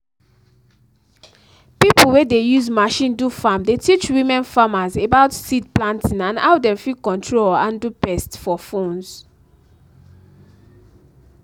pipo wey dey use machine do farm dey teach women farmers about seed planting and how dem fit control or handle pest for phones